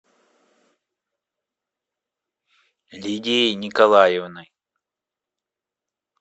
лидией николаевной